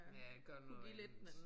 Ja gør noget andet